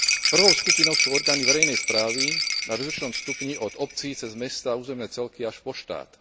Prvou skupinou sú orgány verejnej správy na rozličnom stupni od obcí cez mestá, územné celky až po štát.